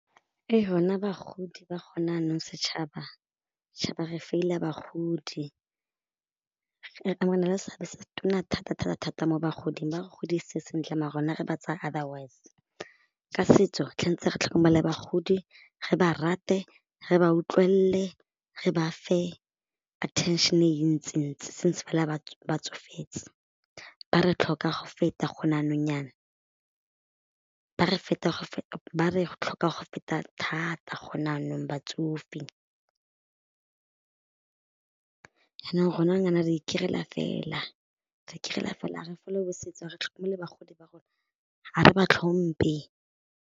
Rona bagodi ba gona jaanong setšhaba, tšhaba re feila bagodi, re na le seabe se se tona thata-thata-thata mo bagoding ba re godise sentle maar rona re ba tsaya otherwise. Ka setso re tlhokomele bagodi re ba rate re ba utlwelele re ba fe attention e ntsintsi since ba tsofetse, ba re tlhoka go feta gone jaanong jaana, ba re thata gone jaanong batsofe jaanong gone jaanong jaana re fela, re fela ga re follow-e setso ga re tlhokomele bagodi ba rona, ga re ba tlhomphe.